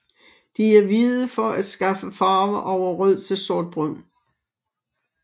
De er hvide for at skifte farve over rød til sortbrun